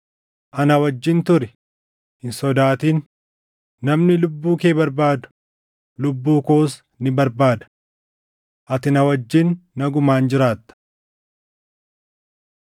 Ana wajjin turi; hin sodaatin; namni lubbuu kee barbaadu, lubbuu koos ni barbaada. Ati na wajjin nagumaan jiraatta.”